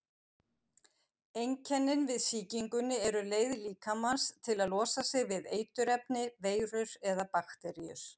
Einkennin við sýkingunni eru leið líkamans til að losa sig við eiturefni, veirur eða bakteríur.